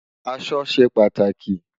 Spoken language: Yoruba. Aṣọ ṣé pàtáki